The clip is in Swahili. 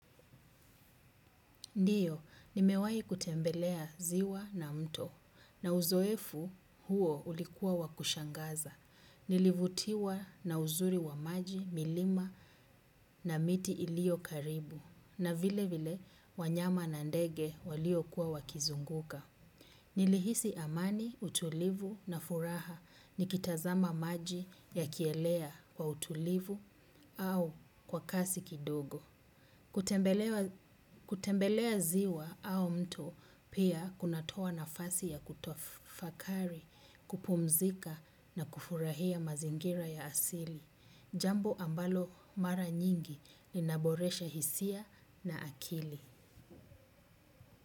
Ndiyo, nimewahi kutembelea ziwa na mto na uzoefu huo ulikuwa wa kushangaza. Nilivutiwa na uzuri wa maji, milima na miti iliyo karibu na vile vile wanyama na ndege waliokuwa wakizunguka. Nilihisi amani, utulivu na furaha nikitazama maji yakielea kwa utulivu au kwa kasi kidogo. Kutembelea ziwa au mto pia kunatoa nafasi ya kutafakari, kupumzika na kufurahia mazingira ya asili. Jambo ambalo mara nyingi linaboresha hisia na akili.